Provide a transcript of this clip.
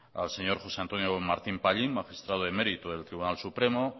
al señor josé antonio martín pallín magistrado emérito del tribunal supremo